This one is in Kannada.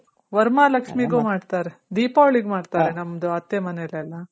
ವರಮಹಾಲಕ್ಷ್ಮೀಗೂ ಮಾಡ್ತಾರೆ. ದೀಪಾವಳಿಗು ಮಾಡ್ತಾರೆ ನಮ್ದು ಅತ್ತೆ ಮನೇಲೆಲ್ಲ.